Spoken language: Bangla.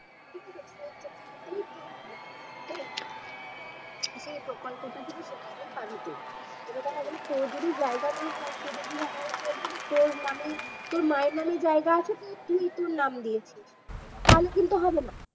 সে প্রকল্পটা কিন্তু সেখানেই পাবি তুই এবার দেখা গেল তোর যদি জায়গা না হয় তুই যদি দেখা গেল তোর নামে তোর মায়ের নামে জায়গা আছে তুই তোর নাম দিয়েছিস তাহলে কিন্তু হবে না